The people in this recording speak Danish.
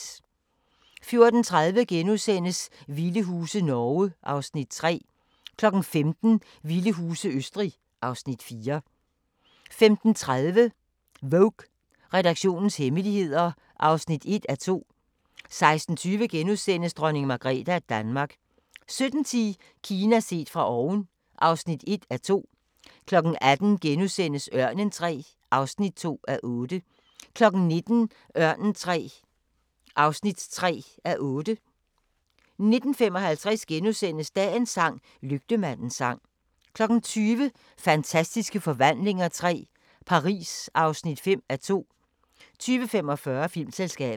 14:30: Vilde huse – Norge (Afs. 3)* 15:00: Vilde huse – Østrig (Afs. 4) 15:30: Vogue: Redaktionens hemmeligheder (1:2) 16:20: Dronning Margrethe af Danmark * 17:10: Kina set fra oven (1:2) 18:00: Ørnen III (2:8)* 19:00: Ørnen III (3:8) 19:55: Dagens sang: Lygtemandens sang * 20:00: Fantastiske Forvandlinger III – Paris (5:2) 20:45: Filmselskabet